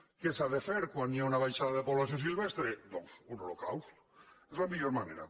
què s’ha de fer quan hi ha una baixada de població silvestre doncs un holocaust és la millor manera